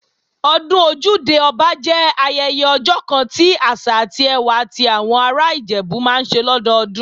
Ọdún Ojúde-Ọba jẹ́ ayẹyẹ ọjọ́ kan ti àṣà àti ẹwà ti àwọn ará Ìjẹ̀bú máa ń ṣe lọ́dọdún